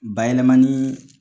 Bayɛlɛmani